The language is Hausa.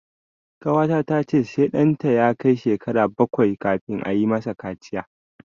Ƙawata ta ce sai ɗanta ya kai shekara bakwai kafin ayi ma sa kaciya